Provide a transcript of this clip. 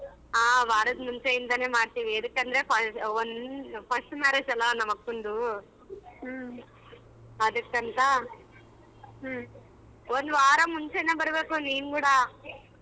ಹ ವಾರದ ಮುಂಚೆಯಿಂದನೇ ಮಾಡ್ತೀವಿ ಯದಿಕ್ಕಂದ್ರೆ first marriage ಅಲ್ವಾ ನಮ್ಮಕ್ಕಂದು ಅದಕ್ಕಂತಾ ಒಂದವಾರ ಮುಂಚೆನೆ ಬರಬೇಕು ನೀನು ಕೂಡ.